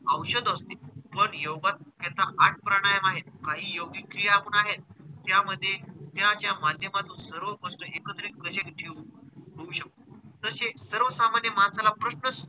औषध असते पण योगात त्याचा आठ प्राणायाम आहेत. काही योगक्रिया पण आहेत त्यामधे त्याच्या माध्यमातून सर्व गोष्ट एकत्रित कसे कसे ठेऊ शकते. तसेच सर्वसामान्य माणसाला प्रश्नच,